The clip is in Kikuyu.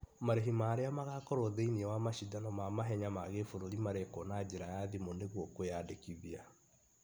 Marĩhi ma arĩa magakorwo thĩiniĩ wa masindano ma mahenya ma gĩbũrũri marekwo na njĩra ya thimũ nĩgũo kwĩyandĩkithia